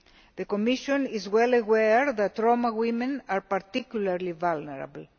The Commission is well aware that Roma women are particularly vulnerable.